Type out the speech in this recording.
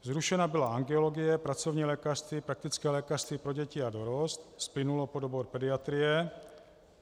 Zrušena byla angiologie, pracovní lékařství, praktické lékařství pro děti a dorost splynulo pod obor pediatrie.